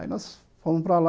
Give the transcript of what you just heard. Aí nós fomos para lá.